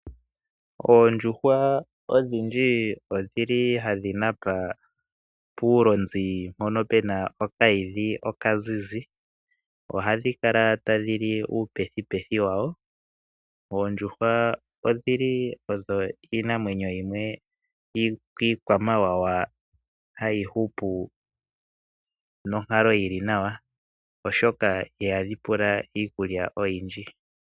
Oondjuhwa odhindji odhili hadhi napa puulonzi mpono pe na okahidhi okazizi, ohadhi kala tadhi li uupethipethi wawo. Oondjuhwa odhili odho iinamwenyo yimwe iikwamawawa hayi hupu nonkalo yili nawa oshoka ihadhi pula iikulya oyindji.